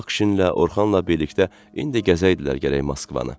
Aqşinlə, Orxanla birlikdə indi gəzəydilər gərək Moskvanı.